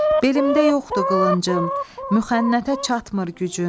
Belimdə yoxdur qılıncım, mühənnətə çatmır gücüm.